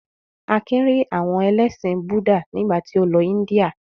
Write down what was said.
Akin rí àwọn ẹlẹ́sìn Búdà nígbà tí ó lọ Ińdíà.